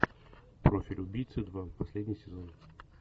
профиль убийцы два последний сезон